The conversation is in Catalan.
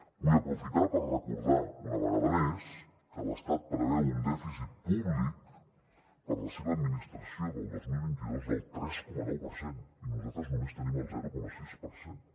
vull aprofitar per recordar una vegada més que l’estat preveu un dèficit públic per a la seva administració del dos mil vint dos del tres coma nou per cent i nosaltres només tenim el zero coma sis per cent